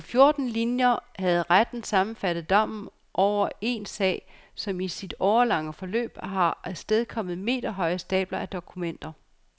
På fjorten linjer havde retten sammenfattet dommen over en sag, som i sit årelange forløb har afstedkommet meterhøje stabler af dokumenter.